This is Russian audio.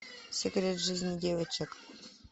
секрет жизни девочек